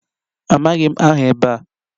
Amaghị m aha ebe a